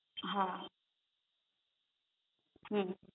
હા હમ